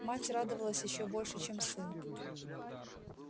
мать радовалась ещё больше чем сын